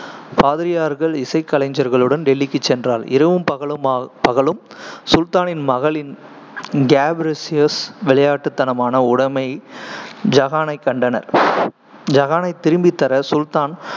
பாதிரியார்கள் இசைக்கலைஞர்களுடன் டெல்லிக்குச் சென்றாள், இரவும் பகலுமா~ பகலும் சுல்தானின் மகளின் கேப்ரிசியோஸ் விளையாட்டுத்தனமான உடைமை ஐகானைக் கண்டனர் ஐகானைத் திரும்பித் தர சுல்தான்